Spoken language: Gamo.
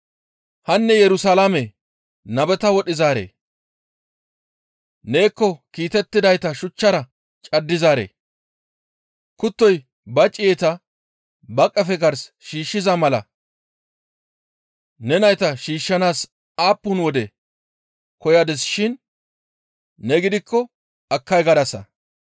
«Hanne Yerusalaame nabeta wodhizaaree! Neekko kiitettidayta shuchchara caddizaaree! Kuttoy ba ciyeta ba qefe gars shiishshiza mala ne nayta shiishshanaas aappun wode koyadinaashin ne gidikko akkay gadasa.